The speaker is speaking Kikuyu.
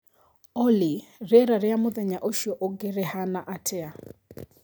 olly rĩera rĩa mũthenya ũcio ũngi rĩhana atĩa